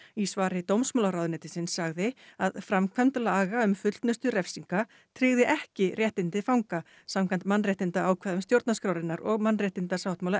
í svari dómsmálaráðuneytisins sagði að framkvæmd laga um fullnustu refsinga tryggði ekki réttindi fanga samkvæmt mannréttindaákvæðum stjórnarskrárinnar og mannréttindasáttmála